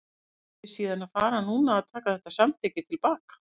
Á ég síðan að fara núna að taka þetta samþykki til baka?